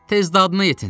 Tez dadına yetin!